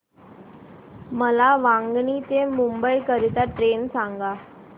मला वांगणी ते मुंबई करीता ट्रेन सांगा